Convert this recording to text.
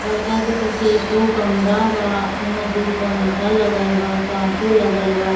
लड़का के पीछे एगो कमरा बा ओय मे दू पंखा लगल बा कांचों लगल बा।